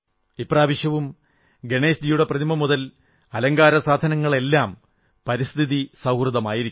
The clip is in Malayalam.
ഇപ്രാവശ്യവും ഗണേശ്ജിയുടെ പ്രതിമ മുതൽ അലങ്കാരസാധനങ്ങളെല്ലാം പരിസ്ഥിതി സൌഹൃദമായിരിക്കണം